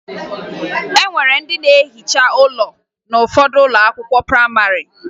E nwere ndị na-ehiche ụlọ n'ụfọdụ ụlọ akwụkwọ prayịmarị